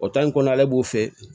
O in kɔnɔ ale b'o fɛ